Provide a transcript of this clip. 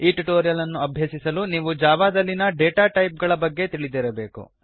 ಈ ಟ್ಯುಟೋರಿಯಲ್ ಅನ್ನು ಅಭ್ಯಸಿಸಲು ನೀವು ಜಾವಾದಲ್ಲಿನ ಡೇಟಾ ಟೈಪ್ಗಳ ಬಗ್ಗೆ ತಿಳಿದಿರಬೇಕು